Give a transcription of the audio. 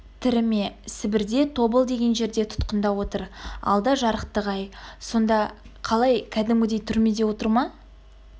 тірі ме сібірде тобыл деген жерде тұтқында отыр алда жарықтық-ай сонда қалай кәдімгідей түрмеде отыр ма